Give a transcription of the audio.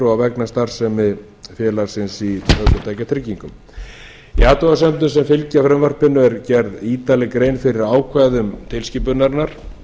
tjónsuppgjörsfulltrúa vegna starfsemi félagsins í ökutækjatryggingum í athugasemdum sem fylgja frumvarpinu er gerð ítarleg grein fyrir ákvæðum tilskipunarinnar